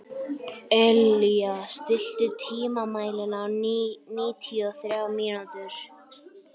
Elea, stilltu tímamælinn á níutíu og þrjár mínútur.